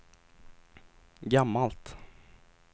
gammalt